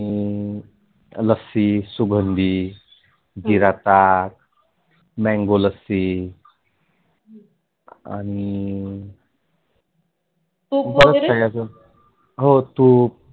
लस्सी, सुगंधी, जीरा ताक, Mango लस्सी आणि तुप वगैरे हो तुप